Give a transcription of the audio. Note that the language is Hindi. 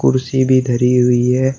कुर्सी भी धरी हुई है।